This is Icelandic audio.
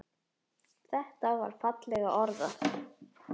Þetta er fallega orðað.